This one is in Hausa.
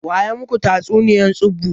Waya maku tatsuniya tsubu?